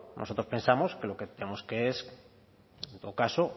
nosotros pensamos que lo que tenemos es que en todo caso